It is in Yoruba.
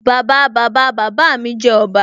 Bàbáa Bàbáa bàbá mi jẹ́ ọba